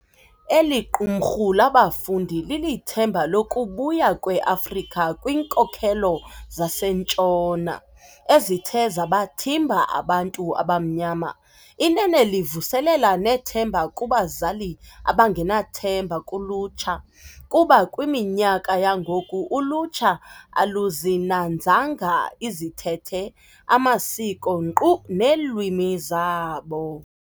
Eliqumrhu labafundi lilithemba lokubuya kwe Afrika kwiinkolelo zaseNtshona ezithe zabathimba abantu abamnyama. Inene livuselela nethemba kubazali abangenathemba kulutsha kuba kwiminyaka yangoku ulutsha aluzinanzanga izithethe amasiko nkqu neelwimi zabo.